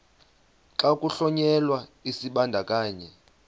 xa kuhlonyelwa isibandakanyi